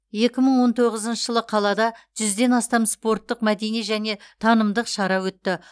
екі мың он тоғызыншы жылы қалада жүзден астам спорттық мәдени және танымдық шара өтті